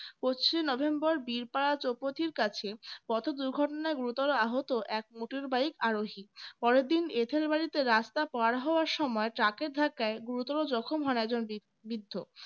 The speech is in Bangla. পঁচিশে নভেম্বর বীরপাড়া চোপতির কাছে পথ দুর্ঘটনায় গুরুতর আহত এক motor bike আরোহী পরদিন এটেলবাড়িতে রাস্তা পার হওয়ার সময় truck এর ধাক্কায় গুরুতর জখম হন একজন বৃদ্ধ